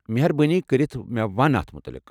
مہربٲنی كرِتھ مےٚ ون اتھ متعلق۔